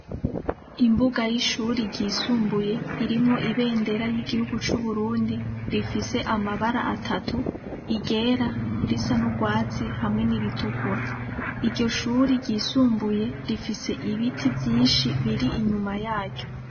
Imbuga y'ishure ryisumbuye irimwo ibendera ry'igihugu c'uburundi, rifis'amabara atatu: iryera, irisa n'urwatsi hamwe niritukura, iryo shure ryisumbuye rifise ibiti vyinshi biri inyuma yaryo.